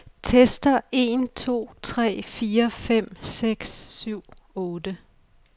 Tester en to tre fire fem seks syv otte.